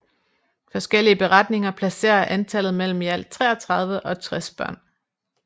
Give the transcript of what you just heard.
Forskellige beretninger placerer antallet mellem i alt 33 og 60 børn